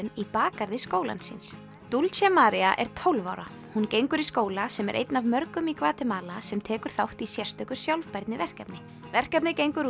í bakgarði skólans dulce María er tólf ára hún gengur í skóla sem er einn af mörgum í Gvatemala sem tekur þátt í sérstöku sjálfbærniverkefni verkefnið gengur